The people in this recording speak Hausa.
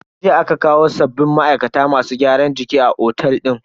Jiya aka kawo sabbin ma'aikata masu gyaran jiki a otel din.